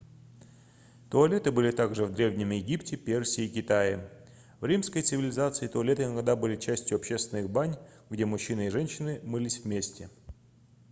туалеты были также в древнем египте персии и китае в римской цивилизации туалеты иногда были частью общественных бань где мужчины и женщины мылись вместе